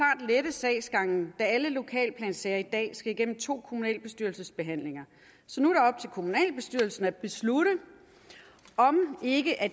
sagsgangen da alle lokalplansager i dag skal igennem to kommunalbestyrelsesbehandlinger så nu er kommunalbestyrelsen at beslutte om